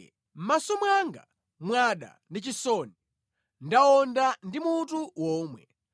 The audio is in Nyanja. Mʼmaso mwanga mwada ndi chisoni; ndawonda ndi mutu womwe.